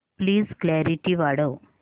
please clarity वाढव